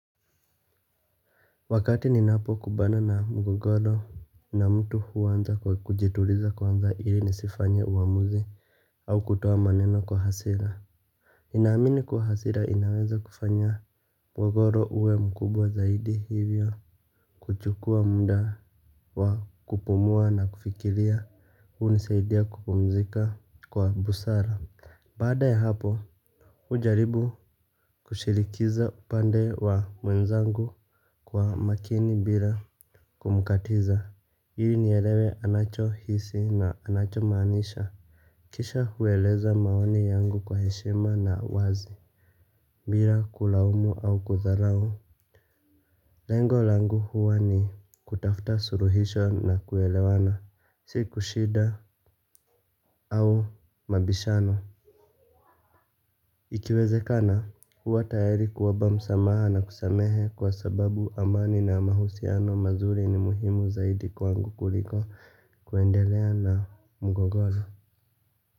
Wakati ninapo kumbana na mgogoro na mtu huanza kwa kujituliza kwanza ili nisifanye uamuzi au kutoa maneno kwa hasira. Ninaamini kuwa hasira inaweza kufanya mgogoro uwe mkubwa zaidi hivyo kuchukua muda wa kupumua na kufikiria hunisaidia kupumzika kwa busara. Baada ya hapo hujaribu kushirikiza upande wa mwenzangu kwa makini bila kumkatiza, ili nielewe anacho hisi na anacho maanisha. Kisha hueleza maoni yangu kwa heshima na wazi bila kulaumu au kudharau. Lengo langu huwa ni kutafuta suluhisho na kuelewana si kushinda au mabishano. Ikiwezekana, huwa tayari kuomba msamaha na kusamehe kwa sababu amani na mahusiano mazuri ni muhimu zaidi kwangu kuliko kuendelea na mgogoro.